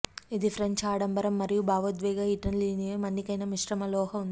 ఇది ఫ్రెంచ్ ఆడంబరం మరియు భావోద్వేగ ఇటాలియన్లు మన్నికైన మిశ్రమ లోహ ఉంది